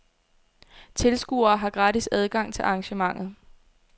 Tilskuere har gratis adgang til arrangementet.